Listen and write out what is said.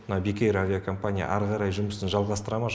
мына бек эйр авиакомпания әрі қарай жұмысын жалғастыра ма